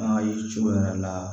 An ka ye cogo yɛrɛ la